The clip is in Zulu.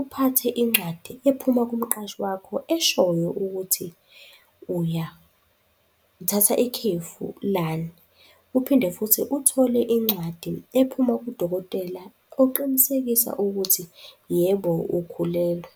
uphathe incwadi ephuma kumqashi wakho eshoyo ukuthi uthatha ikhefu lani. Uphinde futhi uthole incwadi ephuma kudokotela oqinisekisa ukuthi yebo, ukhulelwe.